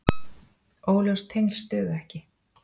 Óljós tengsl duga ekki.